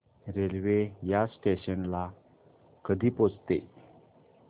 railway या station ला कधी पोहचते